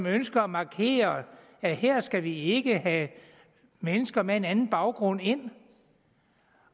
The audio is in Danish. ønsker at markere at her skal vi ikke have mennesker med en anden baggrund ind